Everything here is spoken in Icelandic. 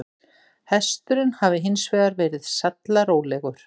Hesturinn hafi hins vegar verið sallarólegur